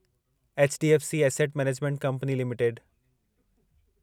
HDFC Asset Management Company limited